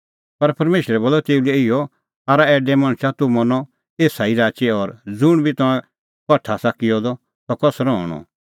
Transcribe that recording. पर परमेशरै बोलअ तेऊ लै इहअ आरा ऐडैआ तूह मरनअ एसा ई राची और ज़ुंण बी तंऐं कठा आसा किअ द सह कसरअ हणअ